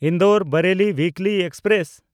Indore-Bareilly weekly express